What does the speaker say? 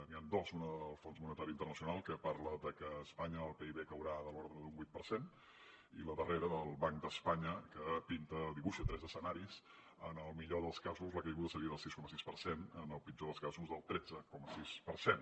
n’hi han dos una del fons monetari internacional que parla de que a espanya el pib caurà de l’ordre d’un vuit per cent i la darrera del banc d’espanya que pinta dibuixa tres escenaris en el millor dels casos la caiguda seria del sis coma sis per cent en el pitjor dels casos del tretze coma sis per cent